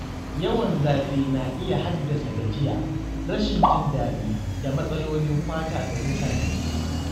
Yawan zafi na iya haddasa gajiya, rashin jin daɗi, da matsalolin fata ga mutane.